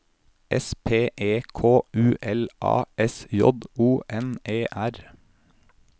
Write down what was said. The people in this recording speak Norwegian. S P E K U L A S J O N E R